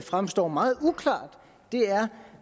fremstår meget uklart er